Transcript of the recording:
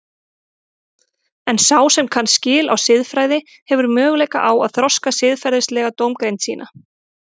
En sá sem kann skil á siðfræði hefur möguleika á að þroska siðferðilega dómgreind sína.